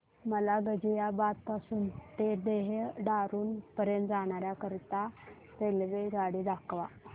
मला गाझियाबाद पासून ते देहराडून पर्यंत जाण्या करीता रेल्वेगाडी दाखवा